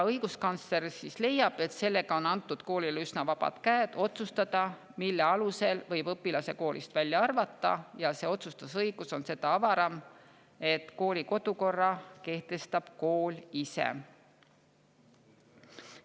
Õiguskantsler leiab, et sellega on antud koolile üsna vabad käed otsustada, mille alusel võib õpilase koolist välja arvata, ja see otsustusõigus on seda avaram, et kooli kodukorra kehtestab kool ise.